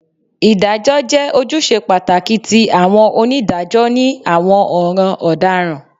Idajọ jẹ ojuṣe pataki ti awọn onidajọ ni awọn ọran ọdaràn